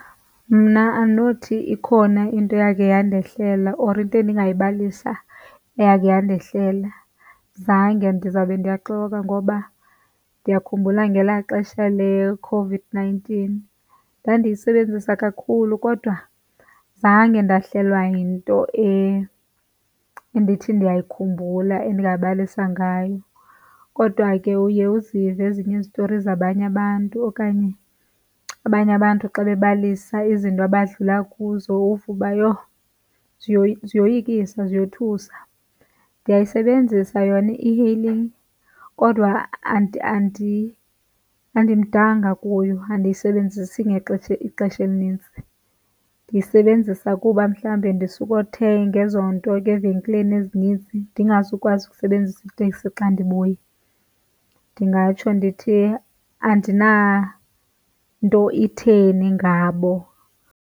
Mna andinothi ikhona into eyakhe yandehlela or into engayibalisa eyakhe yandehlela. Zange, ndizawube ndiyaxoka ngoba ndiyakhumbula ngelaa xesha leCOVID-nineteen ndandiyisebenzisa kakhulu kodwa zange ndahlelwa yinto endithi ndiyayikhumbula endingabalisa ngayo. Kodwa ke uye uzive ezinye izitori zabanye abantu okanye abanye abantu xa bebalisa izinto abadlula kuzo uve uba, yho, ziyoyikisa ziyothusa. Ndiyayisebenzisa yona i-e-hailing kodwa andimdanga kuyo, andiyisebenzisi ixesha elinintsi. Ndisebenzisa kuba mhlawumbi ndisukothenga ezo nto ke evenkileni ezinintsi, ndingazukwazi ukusebenzisa iteksi xa ndibuya. Ndingatsho ndithi andinanto itheni ngabo.